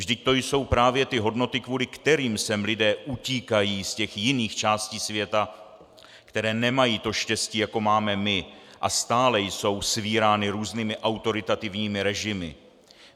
Vždyť to jsou právě ty hodnoty, kvůli kterým sem lidé utíkají z těch jiných částí světa, které nemají to štěstí, jako máme my, a stále jsou svírány různými autoritativními režimy.